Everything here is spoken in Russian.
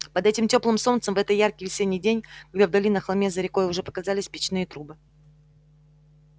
под этим тёплым солнцем в этот яркий весенний день когда вдали на холме за рекой уже показались печные трубы